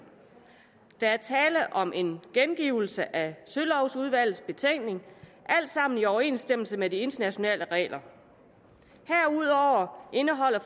der er tale om en gengivelse af sølovudvalgets betænkning alt sammen i overensstemmelse med de internationale regler herudover indeholder